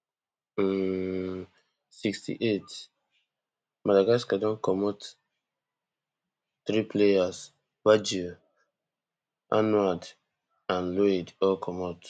um sixty-eightmadagascar don comot three players baggio arnaud and loid all comot